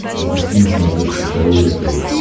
запусти на смотрешке здоровое тв